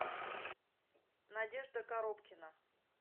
надежда коробкина